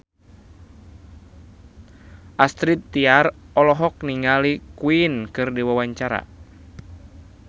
Astrid Tiar olohok ningali Queen keur diwawancara